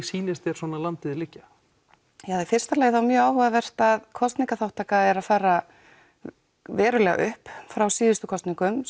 sýnist þér landið liggja í fyrsta lagi er áhugavert að kosningaþáttaka er að fara verulega upp frá síðustu kosningum